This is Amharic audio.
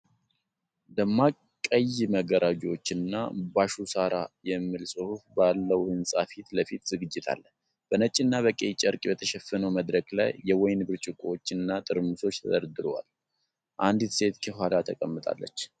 ደማቅ ቀይ መጋረጃዎችና"Bashshu Sara Yeet" የሚል ጽሑፍ ባለው ሕንፃ ፊት ለፊት ዝግጅት አለ። በነጭና በቀይ ጨርቅ በተሸፈነው መድረክ ላይ፣ የወይን ብርጭቆዎችና ጠርሙሶች ተደርድረዋል፤ አንዲት ሴት ከኋላው ተቀምጣለች።